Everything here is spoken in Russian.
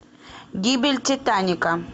гибель титаника